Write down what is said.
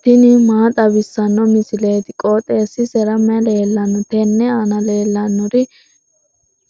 tini maa xawissanno misileeti? qooxeessisera may leellanno? tenne aana leellannori